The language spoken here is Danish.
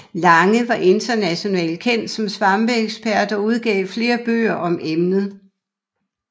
Lange var internationalt kendt som svampeekspert og udgav flere bøger om emnet